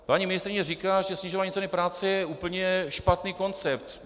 Paní ministryně říkala, že snižování ceny práce je úplně špatný koncept.